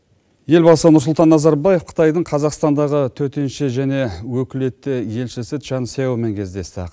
елбасы нұрсұлтан назарбаев қытайдың қазақстандағы төтенше және өкілетті елшісі чан сеомен кездесті